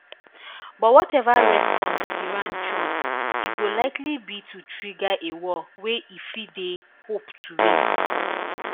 but wateva response iran choose e go likely be to trigger a war wey e fit dey hope to win